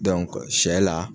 sɛ la,